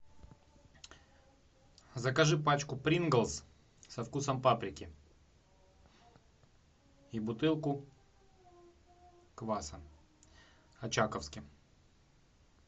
закажи пачку принглс со вкусом паприки и бутылку кваса очаковский